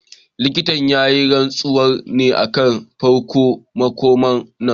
Likitan ya yi rantsuwar ne a farkon makon nan